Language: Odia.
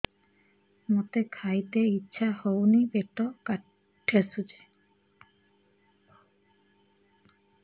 ମୋତେ ଖାଇତେ ଇଚ୍ଛା ହଉନି ପେଟ ଠେସୁଛି